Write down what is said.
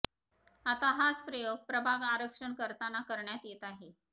आता हाच प्रयोग प्रभाग आरक्षण करताना करण्यात येत आहे